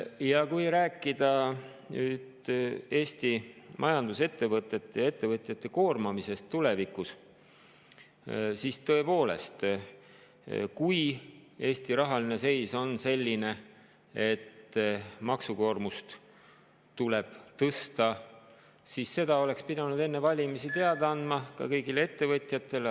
Kui nüüd rääkida Eesti majandusettevõtete ja ettevõtjate koormamisest tulevikus, siis tõepoolest, kui Eesti rahaline seis on selline, et maksukoormust tuleb tõsta, siis oleks pidanud seda enne valimisi teada andma ka kõigile ettevõtjatele.